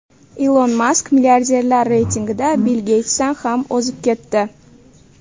Ilon Mask milliarderlar reytingida Bill Geytsdan ham o‘zib ketdi.